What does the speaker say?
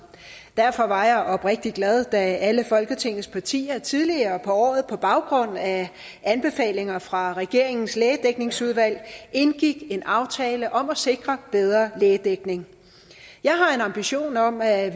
derfor var jeg oprigtigt glad da alle folketingets partier tidligere på året på baggrund af anbefalinger fra regeringens lægedækningsudvalg indgik en aftale om at sikre bedre lægedækning jeg har en ambition om at